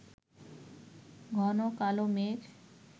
ঘন কালো মেঘ